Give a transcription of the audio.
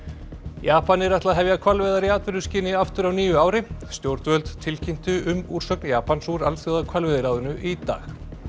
Japanir ætla að hefja hvalveiðar í atvinnuskyni aftur á nýju ári stjórnvöld tilkynntu um úrsögn Japans úr Alþjóðahvalveiðiráðinu í dag